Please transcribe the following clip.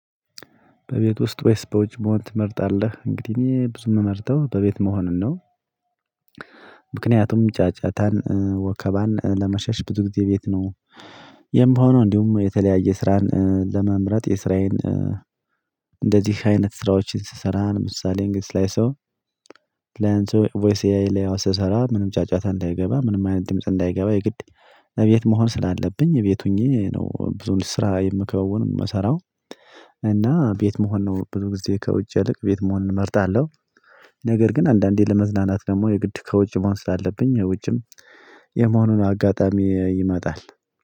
በቤት ውስጥ ወይስ በውጭ መሆን ትመርጣለህ? እንግዲህ እኔ ብዙ የምመርጠው በቤት መሆንን ነው። ምክንያቱም ጫጫታን ወከባን ለመሸሽ ብዙ ጊዜ ቤት ነው። የምሆነው እንዲሁም የተለያየ ስራን ለመምረጥ የስራዬን እንደዚህ አይነት ስራዎችን ስሰራ ለምሳሌ ላይ ሰው። ላይ አንድ ሰው ቮይስ ኤአይ ላይ ስሰራ ምንም ጫጫታ እንዳይገባ ምንም አይነት ድምጽ እንዳይገባ የግድ እቤት መሆን ስላለብኝ እቤት ሆኜ ነው። ብዙ ስራ የምከውን የምሰራው። እና ቤት መሆን ነው ብዙ ጊዜ ከውጭ ያልቅ ቤት መሆንን እመርጣለሁ። ነገር ግን አንዳንዴ ለመዝናናት ደግሞ የግድ ከውጭ መሆን አለብኝ። ውጭም የመሆኑን አጋጣሚ ይመጣል።